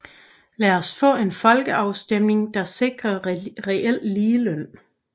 Lad os få en folkeafstemning der sikrer reel ligeløn